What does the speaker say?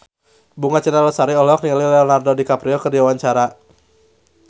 Bunga Citra Lestari olohok ningali Leonardo DiCaprio keur diwawancara